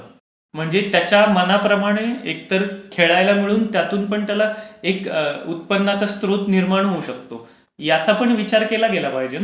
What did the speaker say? म्हणजे त्याच्या मनाप्रमाणे एकतर खेळायला मिळून त्यातून पण त्याला उत्पन्नाचा एक स्त्रोत निर्माण होऊ शकतो. याचा पण विचार केला गेला पाहिजे ना.